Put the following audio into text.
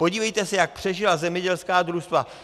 Podívejte se, jak přežila zemědělská družstva.